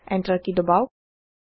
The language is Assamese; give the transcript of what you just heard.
এন্টাৰ কি দবাওক